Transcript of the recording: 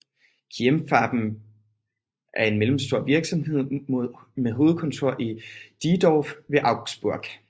Keimfarben GmbH er en mellemstor virksomhed med hovedkontor i Diedorf ved Augsburg